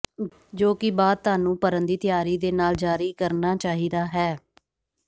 ਜੋ ਕਿ ਬਾਅਦ ਤੁਹਾਨੂੰ ਭਰਨ ਦੀ ਤਿਆਰੀ ਦੇ ਨਾਲ ਜਾਰੀ ਕਰਨਾ ਚਾਹੀਦਾ ਹੈ